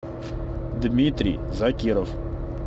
дмитрий закиров